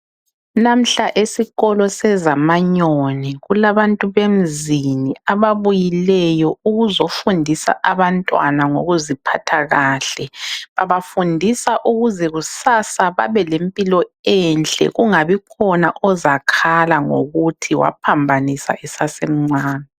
Namhla esikolo seZamanyoni kulabantu bemzini ababuyileyo ukuzofundisa abantwana ngokuziphatha kahle. Babafundisa ukuze kusasa babe lempilo enhle kungabi khona ozakhala ngokuthi waphambanisa esasemncane